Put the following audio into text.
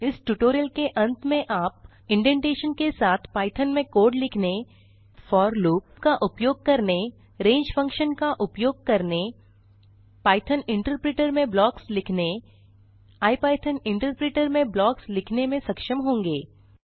इस ट्यूटोरियल के अंत में आप इंडेंटेशन के साथ पाइथॉन में कोड लिखने फोर लूप का उपयोग करने range फंक्शन का उपयोग करने पाइथॉन इंटरप्रिटर में ब्लॉक्स लिखने इपिथॉन इंटरप्रिटर में ब्लॉक्स लिखने में सक्षम होंगे